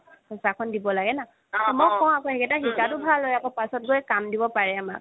পইচাখন দিব লাগে না তে মই কও আকৌ শিকাটোভাল পাছত গৈ কাম দিব পাৰে আমাক